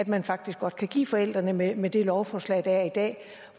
man faktisk godt kan give forældrene med med det lovforslag der er i dag